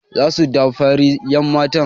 Za su damfari 'yanmata.